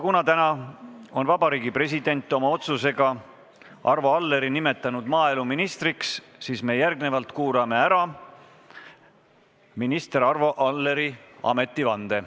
Kuna täna on Vabariigi President oma otsusega nimetanud Arvo Alleri maaeluministriks, siis me kuulame ära minister Arvo Alleri ametivande.